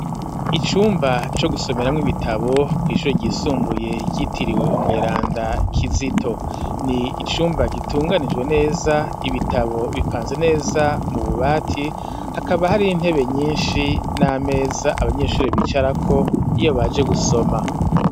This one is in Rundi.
Icumba co gusomeramwo ibitabo kw'ishuri ryisumbuye ryitiriwe umweranda kizito ni icumba gitunganijwe neza ibitabo bipanze neza mu bubati hakaba hari intebe nyinshi n'ameza abanyeshuri bicara ko iyo baje gusoma.